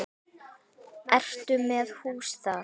Ertu með hús þar?